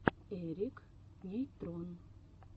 эрик нейтрон